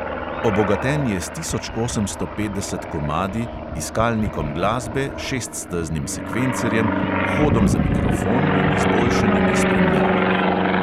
Obogaten je s tisoč osemsto petdeset komadi, iskalnikom glasbe, šeststeznim sekvencerjem, vhodom za mikrofon in izboljšanimi spremljavami.